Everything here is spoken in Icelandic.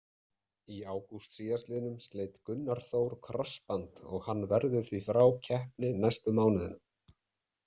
Í ágúst síðastliðnum sleit Gunnar Þór krossband og hann verður því frá keppni næstu mánuðina.